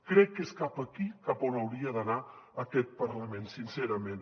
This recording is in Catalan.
crec que és cap aquí cap a on hauria d’anar aquest parlament sincerament